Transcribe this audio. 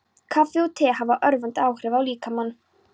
Kaffi og te hafa örvandi áhrif á líkamann.